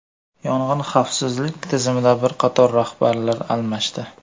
Yong‘in xavfsizligi tizimida bir qator rahbarlar almashdi.